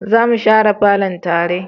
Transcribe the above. za mu share falon tare